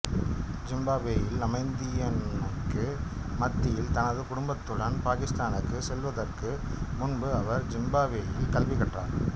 ஜிம்பாப்வேயில் அமைதியின்மைக்கு மத்தியில் தனது குடும்பத்துடன் பாகிஸ்தானுக்குச் செல்வதற்கு முன்பு அவர் ஜிம்பாப்வேயில் கல்வி கற்றார்